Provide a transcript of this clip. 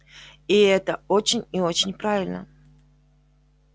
и это очень и очень правильно